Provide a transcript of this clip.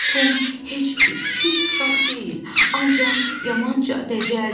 Tom heç bir pis uşaq deyil, ancaq yamanca dəcəldir.